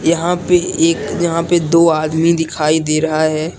यहां पे एक यहां पे दो आदमी दिखाई दे रहा है।